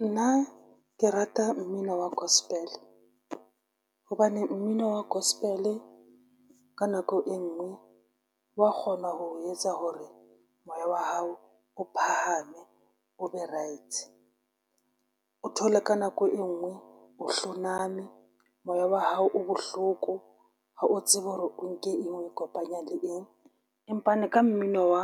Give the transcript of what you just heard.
Nna ke rata mmino wa gospel hobane mmino wa gospel ka nako e ngwe wa kgona ho etsa hore moya wa hao o phahame, o be right. O thole ka nako e nngwe o hloname moya wa hao o bohloko ha o tsebe hore o nke eng o kopanya le eng, empane ka mmino wa